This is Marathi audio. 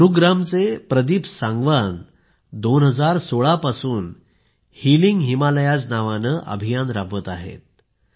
गुरुग्रामचे प्रदीप सांगवान 2016 पासून हिलिंग हिमालयाज नावाने अभियान राबवत आहेत